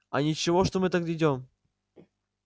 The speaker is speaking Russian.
а ничего что мы так идём